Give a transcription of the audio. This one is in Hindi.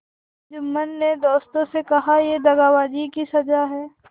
जुम्मन ने दोस्तों से कहायह दगाबाजी की सजा है